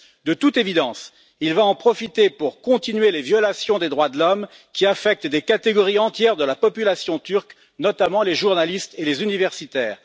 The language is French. De toute évidence, il va en profiter pour continuer les violations des droits de l'homme qui affectent des catégories entières de la population turque, notamment les journalistes et les universitaires.